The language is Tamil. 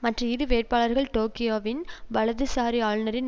மற்ற இரு வேட்பாளர்கள் டோக்கியோவின் வலதுசாரி ஆளுனரின்